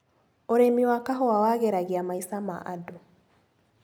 ũrĩmi wa kahũa wagĩragia maica ma andũ.